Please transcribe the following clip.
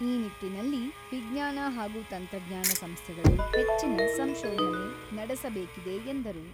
ಈ ನಿಟ್ಟಿನಲ್ಲಿ ವಿಜ್ಞಾನ ಹಾಗೂ ತಂತ್ರಜ್ಞಾನ ಸಂಸ್ಥೆಗಳು ಹೆಚ್ಚಿನ ಸಂಶೋಧನೆ ನಡೆಸಬೇಕಿದೆ ಎಂದರು.